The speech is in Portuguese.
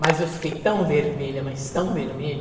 Mas eu fiquei tão vermelha, mas tão vermelha.